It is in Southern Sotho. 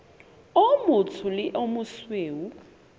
o motsho le o mosweu